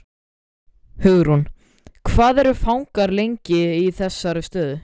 Hugrún: Hvað eru fangar lengi í þessari stöðu?